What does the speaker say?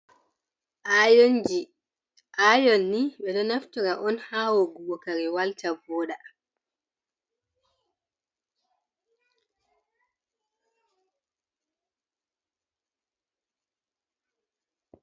Ayonji, ayon ni ɓe ɗo naftira on ha woggugo kare walta, vooɗa.